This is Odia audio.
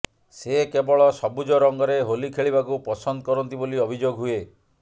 ସେ କେବଳ ସବୁଜ ରଙ୍ଗରେ ହୋଲି ଖେଳିବାକୁ ପସନ୍ଦ କରନ୍ତି ବୋଲି ଅଭିଯୋଗ ହୁଏ